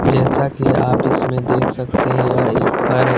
जैसा कि आप इसमें देख सकते हैं यह एक घर है।